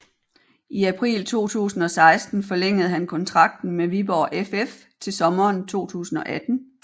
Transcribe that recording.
I april 2016 forlængede han kontrakten med Viborg FF til sommeren 2018